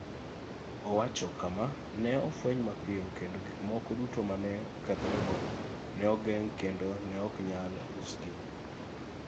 Owacho kama: "Ne ofweny mapiyo kendo gik moko duto ma ne okethorego ne ogeng' kendo ne ok nyal usgi.